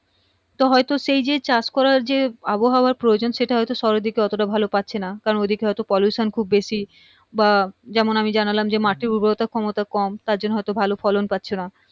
তো হয়তো সে চাষ করার যে আবহাওয়া প্রয়োজন সেটা হয়তো শহরের দিকে এতটা ভালো পাচ্ছেনা কারণ ওই দিকে হয়তো pollution খুব বেশি বা যেমন আমি জানালাম যে মাঠের উর্বরতার ক্ষমতা কম তারজন্য হয়তো ভালো ফলন পাচ্ছ না